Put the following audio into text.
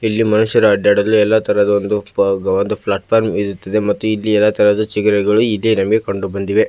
ಇಲ್ಲಿ ಮನುಷ್ಯರು ಅಡ್ಡಾಡಲು ಎಲ್ಲಾ ತರಹದ ಒಂದು ಪಬ ಪ್ಲಾಟ್ ಫಾರ್ಮ್ ಇರುತ್ತದೆ ಮತ್ತು ಇಲ್ಲಿ ಎಲ್ಲಾ ತರಹದ ಚಿಗರೆಗಳು ಇದೆ ನಮಗೆ ಕಂಡುಬಂದಿವೆ .